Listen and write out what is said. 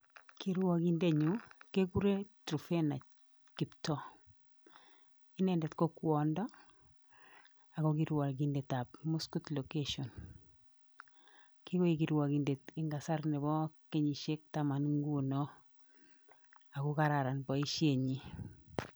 Kirwokindet nebo kokwenyuu kekuren Truphena kiptoo inendet ko kwondo Ako kirwokindet ab muskut location kikoek kirwokindet eng kasarta nebo kenyishek taman ngunoo Ako kararan boishet nyii